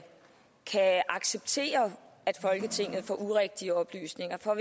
acceptere at folketinget får urigtige oplysninger for